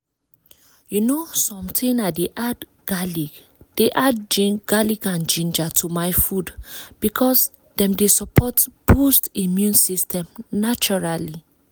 you know something i dey add garlic dey add garlic and ginger to my food because dem dey support boost immune system naturally